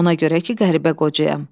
Ona görə ki, qəribə qocayam.